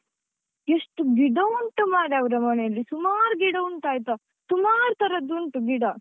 ಎಷ್ಟು ಗಿಡ ಉಂಟು ಮಾರ್ರೆ ಅವರ ಮನೆಯಲ್ಲಿ, ಸುಮಾರು ಗಿಡ ಉಂಟಾಯ್ತಾ, ಸುಮಾರು ತರದ್ದು ಉಂಟು ಗಿಡ.